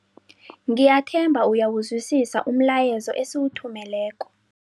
Ngiyathemba uyawuzwisisa umlayezo esiwuthumeleko.